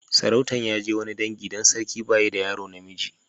Sarautan ya je wani dangi dan sarkin ba yi da yaro na miji.